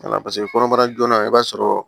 kɔnɔbara joona i b'a sɔrɔ